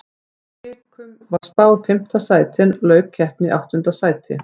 Blikum var spáð fimmta sæti en lauk keppni í áttunda sæti.